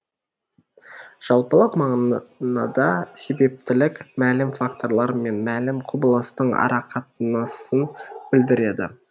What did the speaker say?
жалпылық мағынада себептілік мәлім факторлар мен мәлім құбылыстың арақатынасын білдіреді